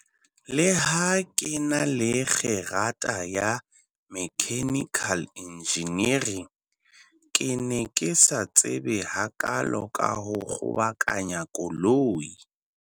Leha ke na le kgerata ya mechanical engineering, ke ne ke sa tsebe hakaalo ka ho kgobokanya koloi.